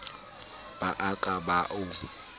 ba a ka ba o